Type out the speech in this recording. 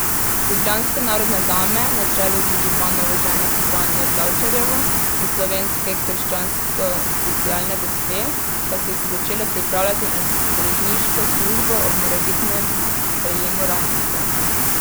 Ljubljanske narodne dame na čelu z županovo ženo Franjo Tavčarjevo in slovenske krščanskosocialne gospe pa so se začele pripravljati na strežniško službo ob morebitnem sprejemu ranjencev.